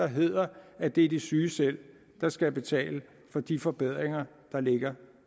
hedder at det er de syge selv der skal betale for de forbedringer der ligger